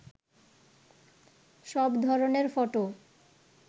সব ধরনের ফটো